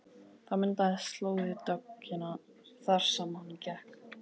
Það myndaðist slóð í dögg- ina þar sem hann gekk.